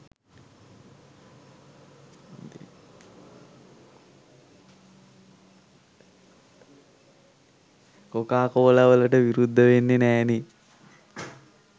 කොකාකෝලාවලට විරුද්ධ වෙන්නෙ නෑනෙ.